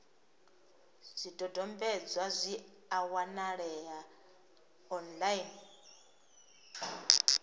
zwidodombedzwa zwi a wanalea online